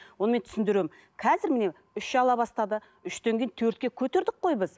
оны мен түсіндіремін қазір міне үш ала бастады үштен кейін төртке көтердік қой біз